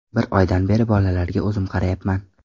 Bir oydan beri bolalarga o‘zim qarayapman.